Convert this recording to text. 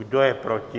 Kdo je proti?